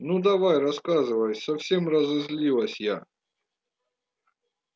ну давай рассказывай совсем разозлилась я